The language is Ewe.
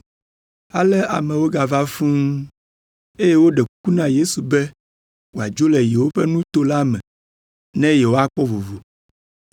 ale amewo gava fũu, eye woɖe kuku na Yesu be wòadzo le yewoƒe nuto la me ne yewoakpɔ vovo.